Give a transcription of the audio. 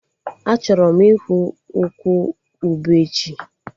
Achọrọ m ịhụ ukwu ube echi